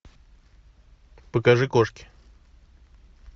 покажи кошки